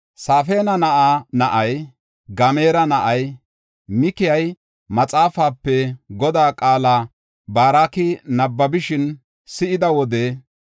Safaana na7aa na7ay, Gamaara na7ay Mikayi maxaafape Godaa qaala Baaroki nabbabishin si7ida wode,